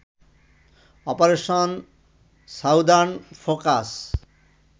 operation southern focus